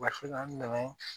an dɛmɛ